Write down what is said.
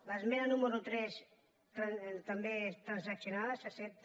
l’esmena número tres també està transaccionada s’accepta